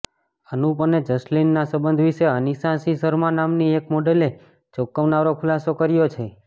અનુપ અને જસલીનના સંબંધ વિશે અનીશા સિંહ શર્મા નામની એક મોડલે ચોંકાવનારો ખુલાસો કર્યો છે